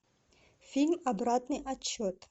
фильм обратный отсчет